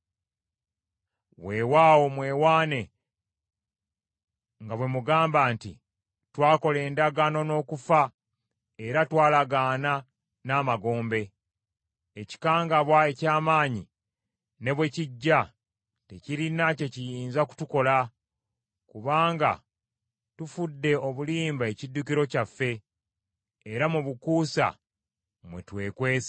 Weewaawo mwewaana nga bwe mugamba nti, “Twakola endagaano n’okufa, era twalagaana n’amagombe. Ekikangabwa eky’amaanyi ne bwe kijja, tekirina kye kiyinza kutukola, kubanga tufudde obulimba ekiddukiro kyaffe, era mu bukuusa mwe twekwese.”